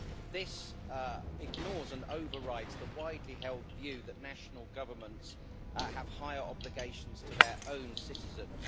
This ignores and overrides the widely-held view that national governments have higher obligations to their own citizens.